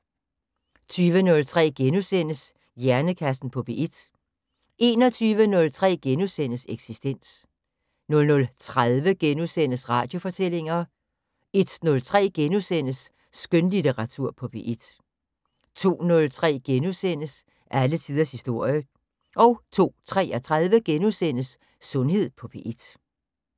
20:03: Hjernekassen på P1 * 21:03: Eksistens * 00:30: Radiofortællinger * 01:03: Skønlitteratur på P1 * 02:03: Alle tiders historie * 02:33: Sundhed på P1 *